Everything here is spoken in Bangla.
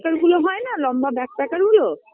packer -গুলো হয়না লম্বা Bagpacker -গুলো